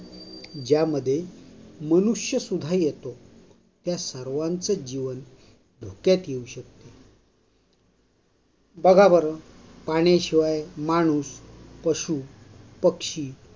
ज्यामध्ये मनुष्य सुधा येतो. या सर्वांच जीवन धोक्यात येऊ शकते. बघा बरं! पाणी शिवाय माणूस, पशू, पक्षी